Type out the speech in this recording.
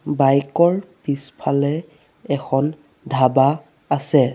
Bike ৰ পিছফালে এখন ধাবা আছে।